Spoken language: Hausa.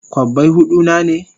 Kobbai hudu na ne?